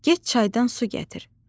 get çaydan su gətir.